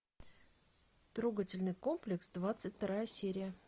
трогательный комплекс двадцать вторая серия